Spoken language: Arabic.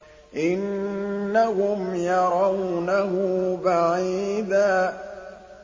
إِنَّهُمْ يَرَوْنَهُ بَعِيدًا